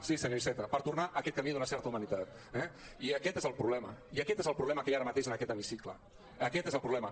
sí senyor iceta per tornar a aquest camí d’una certa humanitat eh i aquest és el problema i aquest és el problema que hi ha ara mateix en aquest hemicicle aquest és el problema